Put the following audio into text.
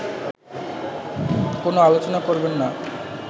কোন আলোচনা করবেন না